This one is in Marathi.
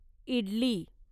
इडली